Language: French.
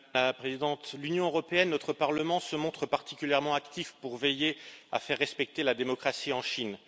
Madame la Présidente, l'Union européenne, notre Parlement, se montrent particulièrement actifs pour veiller à faire respecter la démocratie en Chine.